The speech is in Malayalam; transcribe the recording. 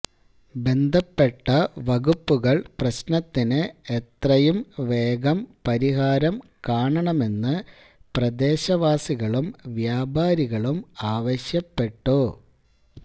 ബന്ധപ്പെട്ട വകുപ്പുകൾ പ്രശ്നത്തിന് എത്രയും വേഗം പരിഹാരം കാണണമെന്ന് പ്രദേശവാസികളും വ്യാപാരികളും ആവശ്യപ്പെട്ടു